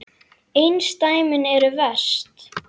Bergrín, hvað er opið lengi á miðvikudaginn?